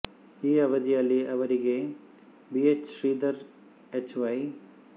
ಈ ಅವಧಿಯಲ್ಲಿ ಅವರಿಗೆ B H Sridhar H Y